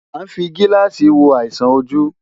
À ń fi gíláàsì wo àìsàn ojú.